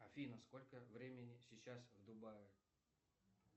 афина сколько времени сейчас в дубае